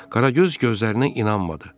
Qaragöz gözlərinə inanmadı.